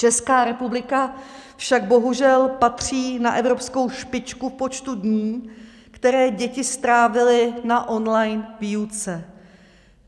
Česká republika však bohužel patří na evropskou špičku v počtu dní, které děti strávily na online výuce.